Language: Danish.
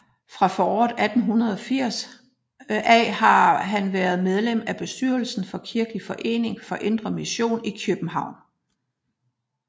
Fra foråret 1880 af har han været medlem af bestyrelsen for Kirkelig Forening for indre Mission i Kjøbenhavn